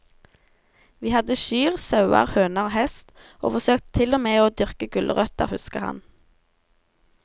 Vi hadde kyr, sauer, høner og hest, og forsøkte til og med å dyrke gulrøtter, husker han.